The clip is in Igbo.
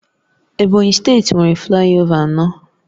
Ebonyi steeti nwere flayova anọ